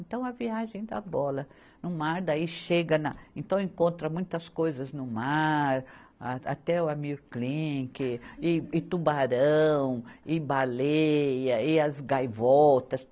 Então, a viagem da bola no mar, daí chega na, então, encontra muitas coisas no mar, a até o Amyr Klink, e, e tubarão, e baleia, e as gaivotas.